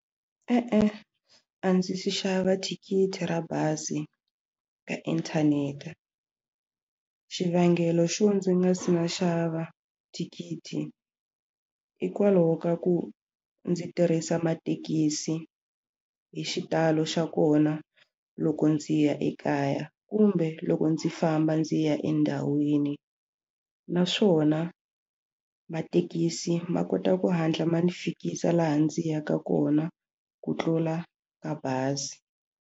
E-e, a ndzi se xava thikithi ra bazi ka inthanete xivangelo xo ndzi nga si na xava thikithi hikwalaho ka ku ndzi tirhisa mathekisi hi xitalo xa kona loko ndzi ya ekaya kumbe loko ndzi famba ndzi ya endhawini naswona mathekisi ma kota ku hatla ma ndzi fikisa laha ndzi yaka kona ku tlula ka bazi.